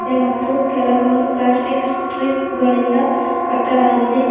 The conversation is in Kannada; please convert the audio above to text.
ಮತ್ತು ಕೆಲವೊಂದು ಪ್ಲಾಸ್ಟಿಕ್ ಸ್ಟ್ರಿಪ್ ಗಳಿಂದ ಕಟ್ಟಲಾಗಿದೆ.